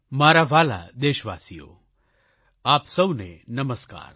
મારા વ્હાલા દેશવાસીઓ આપ સૌને નમસ્કાર